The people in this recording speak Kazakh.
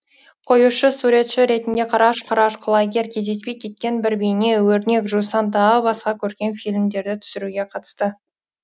қоюшы суретші ретінде қараш қараш құлагер кездеспей кеткен бір бейне өрнек жусан тағы басқа көркем фильмдерді түсіруге қатысты